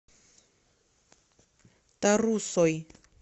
тарусой